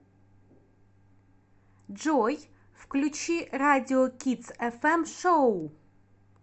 джой включи радиокидсэфэм шоу